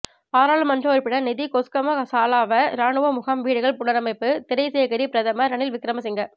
பாராளுமன்ற உறுப்பினர் நிதி கொஸ்கம சாலாவ இராணுவ முகாம் வீடுகள் புனரமைப்பு திறைசேகரி பிரதமர் ரணில் விக்கிரமசிங்க